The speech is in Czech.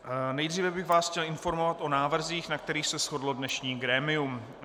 Nejdříve bych vás chtěl informovat o návrzích, na kterých se shodlo dnešní grémium.